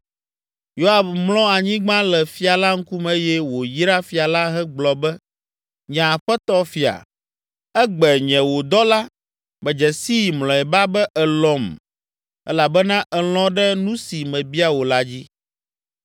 Yoab mlɔ anyigba le fia la ŋkume eye wòyra fia la hegblɔ be, “Nye aƒetɔ fia, egbe nye wò dɔla medze sii mlɔeba be èlɔ̃m elabena èlɔ̃ ɖe nu si mebia wò la dzi!”